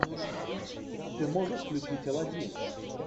ты можешь включить аладдин